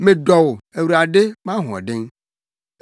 Medɔ wo, Awurade, mʼahoɔden.